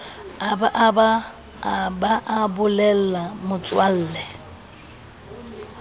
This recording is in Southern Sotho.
a ba a bolella motswalle